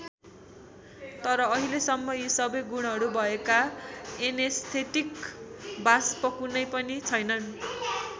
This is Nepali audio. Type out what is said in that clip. तर अहिलेसम्म यी सबै गुणहरू भएका एनेस्थेटिक वाष्प कुनै पनि छैनन्।